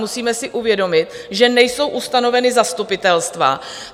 Musíme si uvědomit, že nejsou ustanovena zastupitelstva.